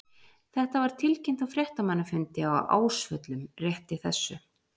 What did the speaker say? Þetta var tilkynnt á fréttamannafundi á Ásvöllum rétt í þessu.